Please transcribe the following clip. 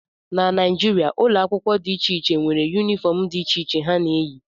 na Naijiria, ụlọ akwụkwọ dị iche iche nwere yunifọm dị iche iche ha na-eyi